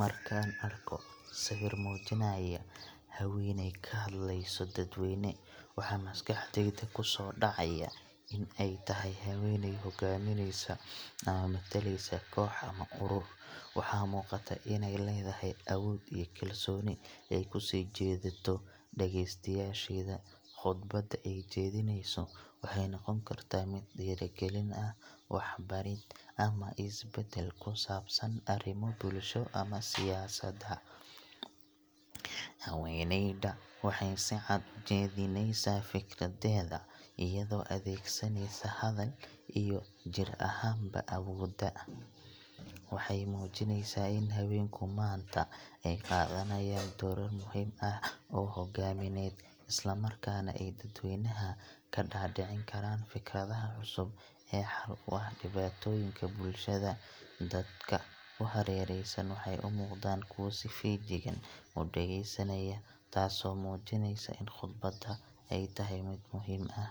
Markaan arko sawir muujinaya haweeney ka hadlayso dadweyne, waxa maskaxdayda ku soo dhacaya in ay tahay haweeney hogaaminaysa ama matalaysa koox ama urur. Waxaa muuqata inay leedahay awood iyo kalsooni ay ku soo jiidato dhegeystayaasheeda. Khudbadda ay jeedinayso waxay noqon kartaa mid dhiirrigelin ah, waxbarid, ama isbeddel ku saabsan arrimo bulshada ama siyaasadda. Haweeneyda waxay si cad u jeedinaysaa fikradeeda, iyadoo adeegsaneysa hadal iyo jir ahaanba awood. Waxay muujinaysaa in haweenku maanta ay qaadanayaan doorar muhiim ah oo hogaamineed, islamarkaana ay dadweynaha ka dhaadhicin karaan fikradaha cusub ee xal u ah dhibaatooyinka bulshada. Dadka ku hareeraysan waxay u muuqdaan kuwo si feejigan u dhegeysanaya, taasoo muujinaysa in khudbadda ay tahay mid muhiim ah.